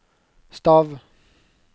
stav